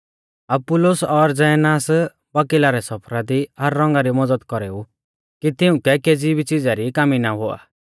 अपुल्लोस और ज़ेनास बकीला रै सफरा दी हर रौंगा री मज़द कौरेऊ कि तिउंकै केज़ी भी च़िज़ा री कामी ना हुआ